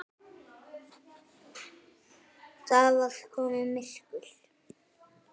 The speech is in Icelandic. Það var komið myrkur.